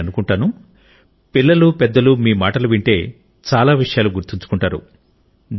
నేననుకంటాను పిల్లలు పెద్దలు మీ మాటలు వింటే చాలా విషయాలు గుర్తుంచుకొంటారు